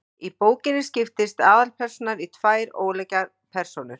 Í bókinni skiptist aðalpersónan í tvær ólíkar persónur.